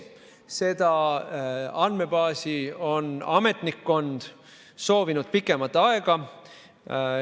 Seda andmebaasi on ametnikkond soovinud pikemat aega.